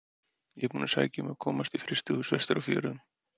Ég er búinn að sækja um að komast í frystihús vestur á fjörðum.